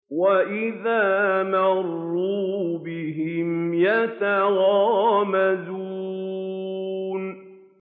وَإِذَا مَرُّوا بِهِمْ يَتَغَامَزُونَ